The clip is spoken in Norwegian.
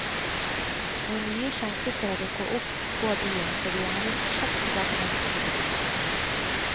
Når nye skjenkesteder dukker opp på byen, får vi gjerne kjapt tilbakemelding fra publikum.